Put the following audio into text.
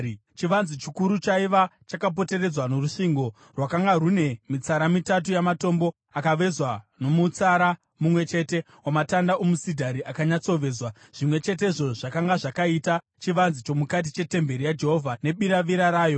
Chivanze chikuru chaiva chakapoteredzwa norusvingo rwakanga rune mitsara mitatu yamatombo akavezwa nomutsara mumwe chete wamatanda omusidhari akanyatsovezwa, zvimwe chetezvo zvakanga zvakaita chivanze chomukati chetemberi yaJehovha nebiravira rayo.